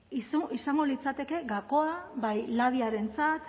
izango litzateke gakoa bai labiarentzat